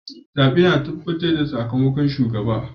Zabe ne ke tabbatar da sakamakon shugabannin.